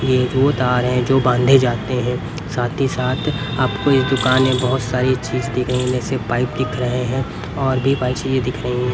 ये वो तार हैं जो बांधे जाते हैं साथ ही साथ आपको इस दुकान में बहुत सारी चीज दिख रही है जैसे पाइप दिख रहे हैं और भी पाइप ये दिख रही है।